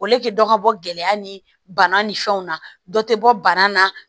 dɔ ka bɔ gɛlɛya ni bana ni fɛnw na dɔ tɛ bɔ bana la